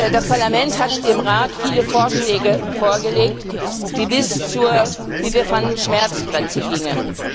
Das Parlament hat dem Rat viele Vorschläge vorgelegt, die bis zur wie wir fanden Schmerzgrenze gingen.